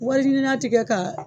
Wari ɲinina tigɛ kaa